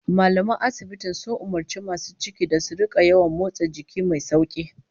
Mallaman asibitin sun umurci masu cikin da su rika yawan motsa jiki mai sauki